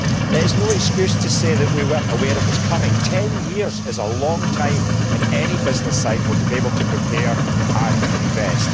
It is no excuse to say that we were not aware it was coming. Ten years is a long time in any business cycle to be able to prepare and invest.